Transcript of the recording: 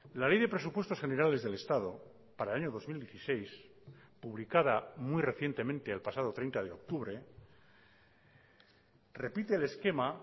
la ley de presupuestos generales del estado para el año dos mil dieciséis publicada muy recientemente el pasado treinta de octubre repite el esquema